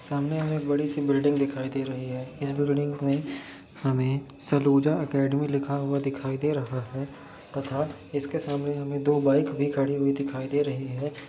सामने हमें एक बड़ी सी बिल्डिंग दिखाई दे रही है इस बिल्डिंग हमे सलूजा एकेडमी लिखा दिखाई दे रहा है तथा इसके सामने दो बाइक खड़ी दिखाई दे रही है।